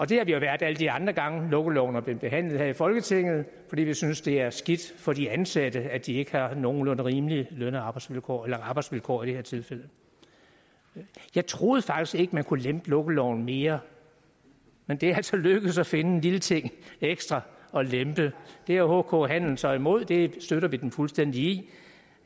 det har vi været alle de andre gange lukkeloven er blevet behandlet her i folketinget fordi vi synes det er skidt for de ansatte at de ikke har nogenlunde rimelige løn og arbejdsvilkår arbejdsvilkår i det her tilfælde jeg troede faktisk ikke man kunne lempe lukkeloven mere men det er altså lykkedes at finde en lille ting ekstra at lempe det er hk handel så imod og det støtter vi dem fuldstændig i